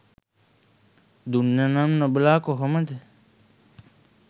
දුන්න නම් නොබලා කොහොමද.